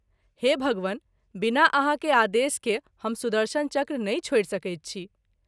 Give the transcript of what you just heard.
हे भगवन बिना आहाँ के आदेश के हम सुदर्शन चक्र नहिं छोड़ि सकैत छी।